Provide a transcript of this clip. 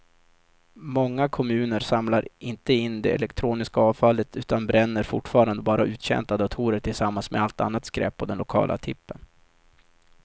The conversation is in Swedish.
Många kommuner samlar inte in det elektroniska avfallet utan bränner fortfarande bara uttjänta datorer tillsammans med allt annat skräp på den lokala tippen.